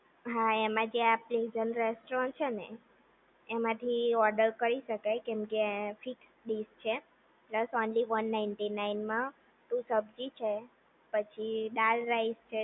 હા એમાં જે આપણે પ્રેઝન્ટ રેસ્ટોરન્ટ છે ને એમાંથી ઓર્ડર કરી શકાય કેમ કે ફિક્સ ડિશ છે plus only one ninety nine માં ટુ સબ્જી છે પછી દાળ રાઈસ છે